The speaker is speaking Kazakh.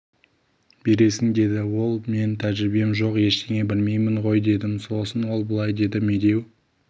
бересің деді ол мен тәжірибем жоқ ештеңе білмеймін ғой дедім сосын ол былай деді медеу